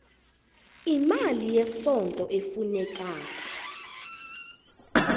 imali yesondlo efunekako